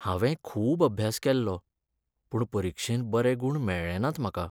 हांवें खूब अभ्यास केल्लो, पूण परिक्षेंत बरे गूण मेळ्ळें नात म्हाका.